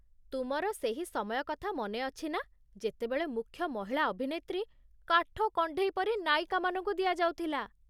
ତୁମର ସେହି ସମୟ କଥା ମନେ ଅଛି ନା ଯେତେବେଳେ ମୁଖ୍ୟ ମହିଳା ଅଭିନେତ୍ରୀ କାଠକଣ୍ଢେଇ ପରି ନାୟିକାମାନଙ୍କୁ ଦିଆଯାଉଥିଲା?